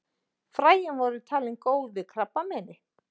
Fræin voru talin góð við krabbameini.